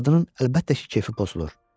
Arvadının əlbəttə ki, kefi pozulur.